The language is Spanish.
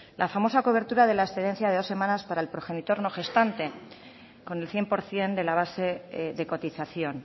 la famosa cobertura de la excedencia de dos semanas para el progenitor no gestante con el cien por ciento de la base de cotización